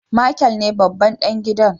Michael ne babban dan gidan.